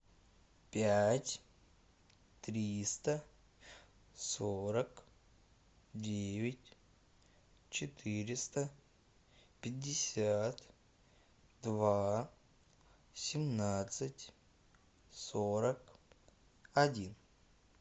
пять триста сорок девять четыреста пятьдесят два семнадцать сорок один